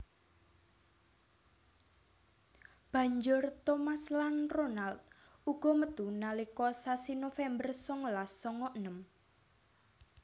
Banjur Thomas lan Ronald uga metu nalika sasi November songolas songo enem